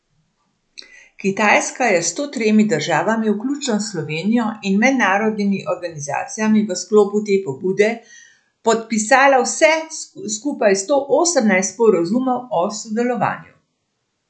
Kitajska je s sto tremi državami, vključno s Slovenijo, in mednarodnimi organizacijami v sklopu te pobude podpisala vse skupaj sto osemnajst sporazumov o sodelovanju.